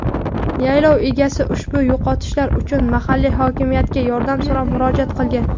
yaylov egasi ushbu yo‘qotishlar uchun mahalliy hokimiyatga yordam so‘rab murojaat qilgan.